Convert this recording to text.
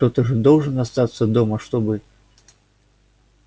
кто-то же должен остаться дома чтобы